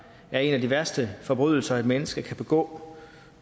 er en af de værste forbrydelser et menneske kan begå